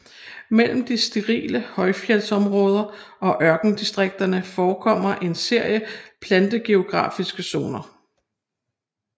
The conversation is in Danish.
Mellem de sterile højfjeldsområder og ørkendistrikterne forekommer en serie plantegeografiske zoner